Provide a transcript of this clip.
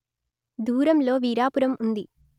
దూరంలో వీరాపురం ఉంది